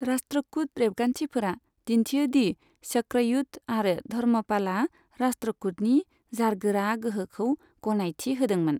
राष्ट्रकूट रेबगान्थिफोरा दिन्थियो दि चक्रयुध आरो धर्मपालआ राष्ट्रकूटनि जारगोरा गोहोखौ गनायथि होदोंमोन।